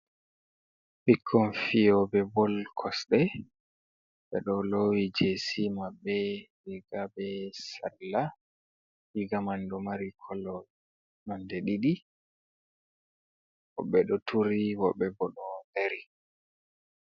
Ɓikkon fiyoɓe bol kosɗe, ɓe ɗo lowi jesi maɓɓe riga be salla, riga man ɗomari kolo nonde ɗiɗi, woɓɓe ɗo turi woɓɓe bo ɗo dari.